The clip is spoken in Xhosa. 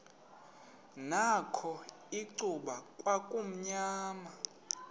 nakho icuba kwakumnyama